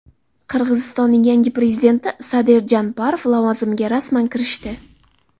Qirg‘izistonning yangi prezidenti Sadir Japarov lavozimiga rasman kirishdi.